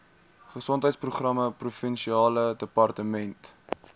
gesondheidsprogramme provinsiale departement